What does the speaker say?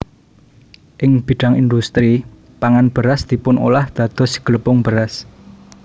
Ing bidhang indhustri pangan beras dipunolah dados glepung beras